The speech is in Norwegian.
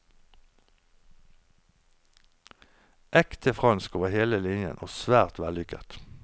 Ekte fransk over hele linjen, og svært vellykket.